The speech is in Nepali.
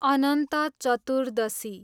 अनन्त चतुर्दशी